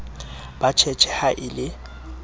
ba tjhetjhe ha e le